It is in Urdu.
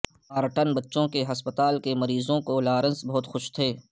نارٹن بچوں کے ہسپتال کے مریضوں کو لارنس بہت خوش تھے